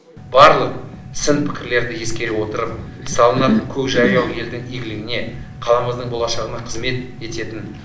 барлық сын пікірлерді ескере отырып салынатын көкжайлау елдің игілігіне қаламыздың болашағына қызмет ететін